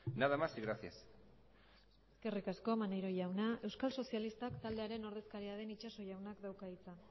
nada más y gracias eskerrik asko maneiro jauna euskal sozialistak taldearen ordezkaria den itxaso jaunak dauka hitza